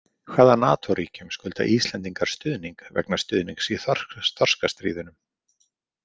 Hvaða Natóríkjum skulda Íslendingar stuðning vegna stuðnings í þorskastríðunum?